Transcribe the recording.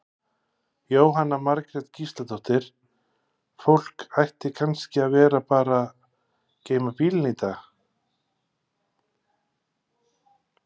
Jóhanna Margrét Gísladóttir: Fólk ætti kannski að vera að bara geyma bílinn í dag?